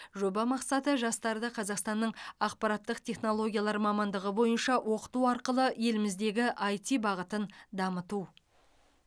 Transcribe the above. жоба мақсаты жастарды қазақстанның ақпараттық технологиялар мамандығы бойынша оқыту арқылы еліміздегі іт бағытын дамыту